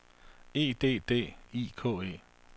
E D D I K E